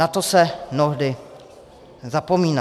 Na to se mnohdy zapomíná.